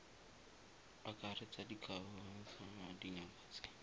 akaretsa dikgakololo tsa dingaka tse